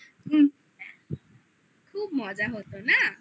খুব মজা হতো না?